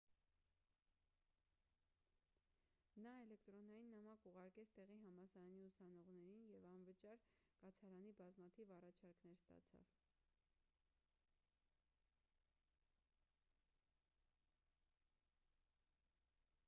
նա էլեկտրոնային նամակ ուղարկեց տեղի համալսարանի ուսանողներին և անվճար կացարանի բազմաթիվ առաջարկներ ստացավ